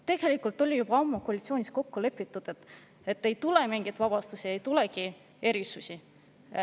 Tegelikult oli juba ammu koalitsioonis kokku lepitud, et ei tule mingeid vabastusi, ei tule erisusi.